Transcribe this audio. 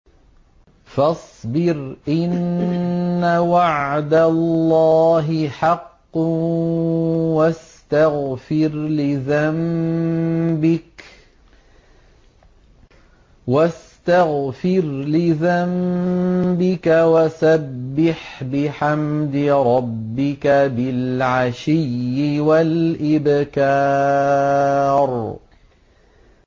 فَاصْبِرْ إِنَّ وَعْدَ اللَّهِ حَقٌّ وَاسْتَغْفِرْ لِذَنبِكَ وَسَبِّحْ بِحَمْدِ رَبِّكَ بِالْعَشِيِّ وَالْإِبْكَارِ